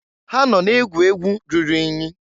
Ha nọ na-egwu egwu ruru inyi.